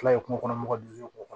kungo kɔnɔ mɔgɔw kɔnɔ